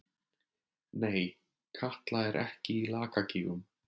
Nei, Katla er ekki í Lakagígum.